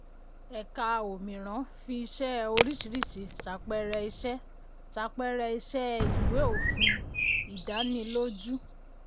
um ẹ̀ka 'òmíràn' fi iṣẹ́ oríṣìíríṣìí ṣàpẹẹrẹ iṣẹ́ ṣàpẹẹrẹ iṣẹ́ ìwé òfin um ìdánilójú.